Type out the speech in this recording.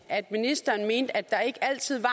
at ministeren mente at der ikke altid var